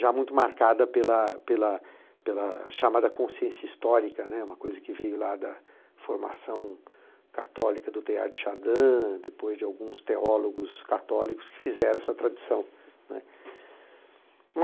já muito marcada pela pela pela chamada consciência histórica, né, uma coisa que veio lá da formação católica do Teilhard de Chardin, depois de alguns teólogos católicos que fizeram essa tradição, né.